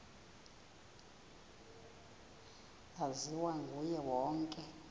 laziwa nguye wonke